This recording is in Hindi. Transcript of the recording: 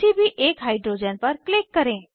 किसी भी एक हाइड्रोजन पर क्लिक करें